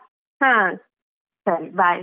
ಹಾ ಸರಿ bye .